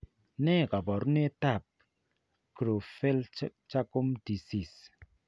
Ne kaabarunetap Creutzfeldt Jakob disease?